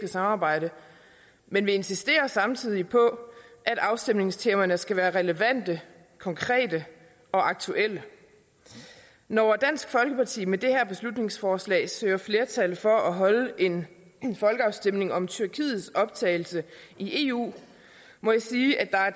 samarbejde men vi insisterer samtidig på at afstemningstemaerne skal være relevante konkrete og aktuelle når dansk folkeparti med det her beslutningsforslag søger flertal for at holde en folkeafstemning om tyrkiets optagelse i eu må jeg sige at der er